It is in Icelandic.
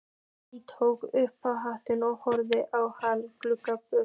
Hún tók upp hattinn og horfði á hann ganga burt.